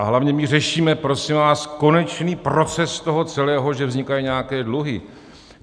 A hlavně my řešíme, prosím vás, konečný proces toho celého, že vznikají nějaké dluhy.